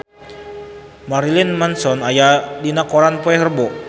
Marilyn Manson aya dina koran poe Rebo